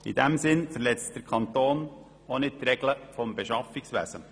In diesem Sinn verletzt der Kanton auch nicht die Regeln des Beschaffungswesens.